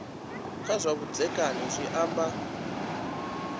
kha zwa vhudzekani zwi amba